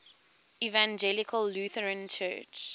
evangelical lutheran church